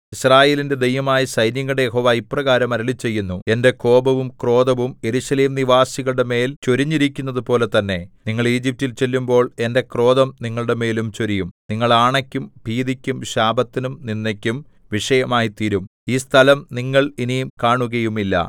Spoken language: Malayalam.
യിസ്രായേലിന്റെ ദൈവമായ സൈന്യങ്ങളുടെ യഹോവ ഇപ്രകാരം അരുളിച്ചെയ്യുന്നു എന്റെ കോപവും ക്രോധവും യെരൂശലേംനിവാസികളുടെ മേൽ ചൊരിഞ്ഞിരിക്കുന്നതുപോലെ തന്നെ നിങ്ങൾ ഈജിപ്റ്റിൽ ചെല്ലുമ്പോൾ എന്റെ ക്രോധം നിങ്ങളുടെമേലും ചൊരിയും നിങ്ങൾ ആണയ്ക്കും ഭീതിക്കും ശാപത്തിനും നിന്ദയ്ക്കും വിഷയമായിത്തീരും ഈ സ്ഥലം നിങ്ങൾ ഇനി കാണുകയുമില്ല